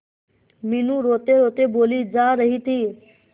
मीनू रोतेरोते बोली जा रही थी